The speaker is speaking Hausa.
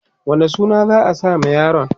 wane suna za'a sa ma yaron?